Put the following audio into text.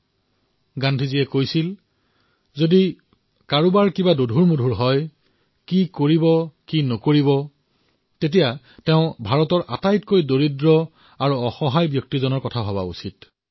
মহাত্মা গান্ধীৰ মন্ত্ৰ এয়াই আছিল যে কোনোবাই কি কৰিব লাগে কি কৰিব নালাগে তেন্তে ভাৰতৰ সবাতোকৈ দুখীয়া আৰু অসহায় ব্যক্তিৰ বিষয়ে চিন্তা কৰিব লাগে